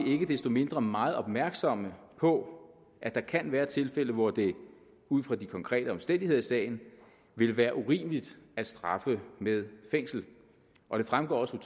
vi ikke desto mindre meget opmærksomme på at der kan være tilfælde hvor det ud fra de konkrete omstændigheder i sagen ville være urimeligt at straffe med fængsel og det fremgår også